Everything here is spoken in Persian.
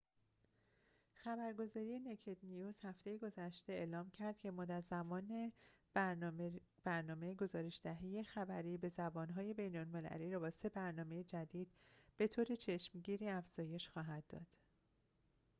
هفته گذشته خبرگزاری naked news اعلام کرد که مدت زمان برنامه گزارش‌دهی خبری به زبان‌های بین‌المللی را با سه برنامه جدید به‌طور چشمگیری افزایش خواهد داد